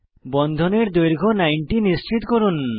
বন্ধনের দৈর্ঘ্য 90 নিশ্চিত করুন